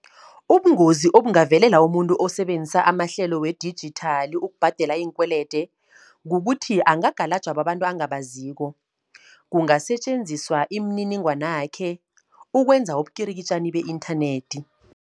Ubungozi obungavelela umuntu osebenzisa amahlelo wedijithali ukubhadela iinkwelede, kukuthi angakalatjhwa babantu angabaziko. Kungasetjenziswa imininingwanakhe ukwenza ubukirikitjani be-inthanethi.